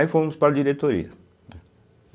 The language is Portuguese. Aí fomos para a diretoria, né.